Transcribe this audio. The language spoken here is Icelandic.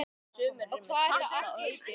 Og hvað þetta allt heitir.